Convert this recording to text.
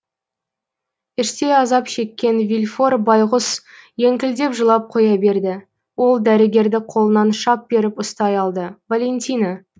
іштей азап шеккен вильфор байғұс еңкілдеп жылап қоя берді ол дәрігерді қолынан шап беріп ұстай алды валентина